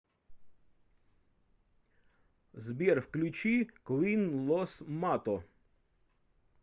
сбер включи квин лос мато